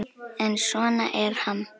En svona er Ham.